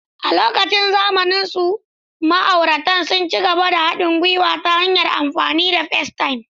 A lokacin zamansu, ma'auratan sun ci gaba da haɗin gwiwa ta hanyar amfani da Facetime.